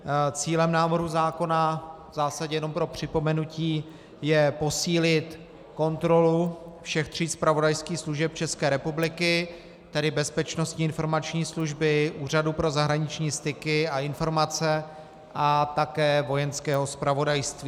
Cílem návrhu zákona - v zásadě jenom pro připomenutí - je posílit kontrolu všech tří zpravodajských služeb České republiky, tedy Bezpečnostní informační služby, Úřadu pro zahraniční styky a informace a také Vojenského zpravodajství.